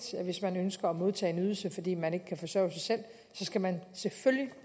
hvis man ønsker at modtage en ydelse fordi man ikke kan forsørge sig selv skal man selvfølgelig